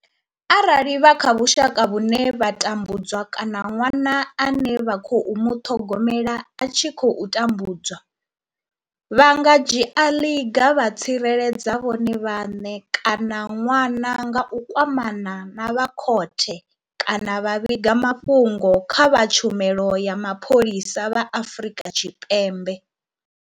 Arali vha kha vhusha ka vhune vha tambudzwa kana ṅwana ane vha khou muṱhogomela a tshi khou tambudzwa, vha nga dzhia ḽiga vha tsireledza vhone vhaṋe kana ṅwana nga u kwamana na vha khothe kana vha vhiga mafhungo kha vha tshumelo ya mapholisa vha Afrika Tshipembe.